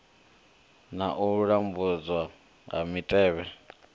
na u lambedzwa ha mitevhe